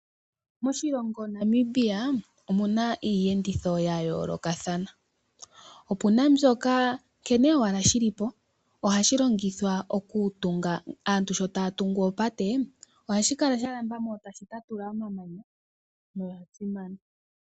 Moshilongo Namibia omuna iiyenditho yayoolokathana, opuna mbyoka nkene owala shili po ohashi longithwa owala aantu shotaya tungu oopate ohashi kala shalambo mo tashi tatula omamanya.